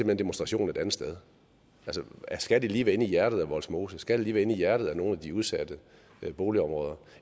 hen demonstrationen et andet sted altså skal det lige være inde i hjertet af vollsmose skal det lige være inde i hjertet af nogle af de udsatte boligområder